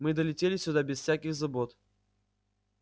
мы долетели сюда без всяких забот